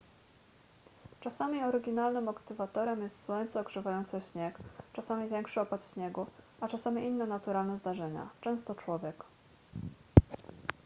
czasami oryginalnym aktywatorem jest słońce ogrzewające śnieg czasami większy opad śniegu a czasami inne naturalne zdarzenia często człowiek